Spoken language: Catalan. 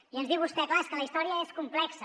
i ens diu vostè clar és que la història és complexa